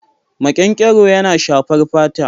Makenkero yana shafar fata.